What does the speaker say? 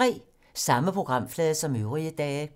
Samme programflade som øvrige dage